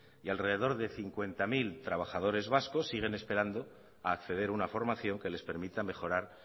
y alrededor de cincuenta mil vascos siguen esperando a acceder a una formación que les permita mejorar